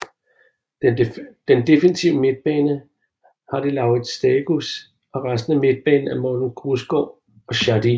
Den defensive midtbane har de Laurits Stagis og resten af midtbanen er Morten Grausgaard og Shadi